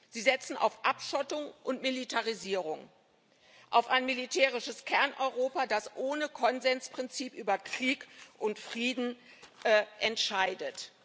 Sie setzen auf Abschottung und Militarisierung, auf ein militärisches Kerneuropa, das ohne Konsensprinzip über Krieg und Frieden entscheidet.